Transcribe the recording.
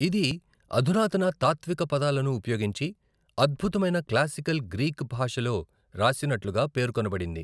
ఇది అధునాతన తాత్విక పదాలను ఉపయోగించి, అద్భుతమైన క్లాసికల్ గ్రీక్ భాషలో రాసినట్లుగా పేర్కొనబడింది.